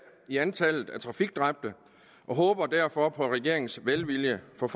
i antallet af trafikdræbte og håber derfor på regeringens velvilje for